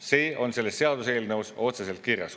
See on selles seaduseelnõus otseselt kirjas.